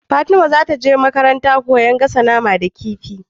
Fatima zataje makarantar koyan gasa nama da kifi